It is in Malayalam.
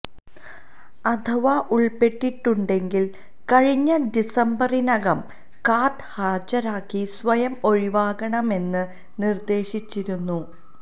അഥവാ ഉള്പ്പെട്ടിട്ടുണ്ടെങ്കില് കഴിഞ്ഞ ഡിസംബറിനകം കാര്ഡ് ഹാജരാക്കി സ്വയം ഒഴിവാകണമെന്നു നിര്ദേശിച്ചിരുന്നു